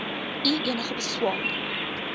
u enige beswaar